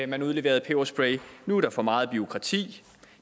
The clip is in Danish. man udleverede peberspray og nu er der for meget bureaukrati